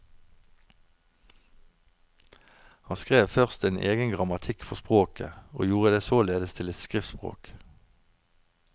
Han skrev først en egen grammatikk for språket, og gjorde det således til et skriftspråk.